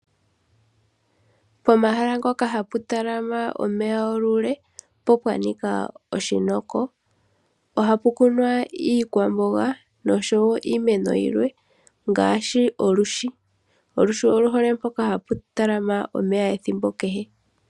Pomahala mpoka hapu talama omeya olule, opo pwa nika oshinoko. Ohapu kunwa iikwamboga nosho wo iimeno yilwe, ngaashi olwishi. Olwishi olu hole mpoka hapu talama omeya ethimbo kehe.